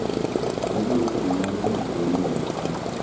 ojiwo pogo mwandu mag piny e yo makare.